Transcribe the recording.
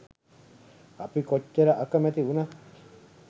අපි කොච්චර අකමැති වුණත්